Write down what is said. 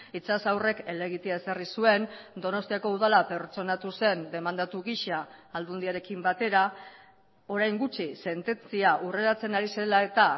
itxas aurrek helegitea ezarri zuen donostiako udala pertsonatu zen demandatu gisa aldundiarekin batera orain gutxi sententzia hurreratzen ari zela eta